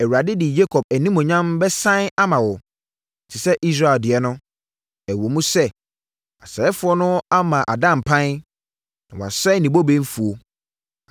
Awurade de Yakob animuonyam bɛsane ama no te sɛ Israel deɛ no, ɛwom sɛ, asɛefoɔ no ama ada mpan na wɔasɛe ne bobe mfuo.